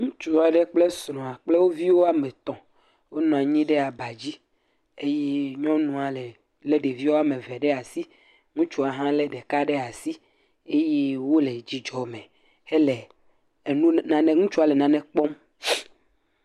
Ŋutsu aɖe kple srɔ̃a kple wo vi woame etɔ̃ wonɔ anyi ɖe aba dzi eye nyɔnua lé ɖeviwo le asi eye ŋutsua hã lé ɖevi ɖeka ɖe asi eye ŋutsua le nane kpɔm.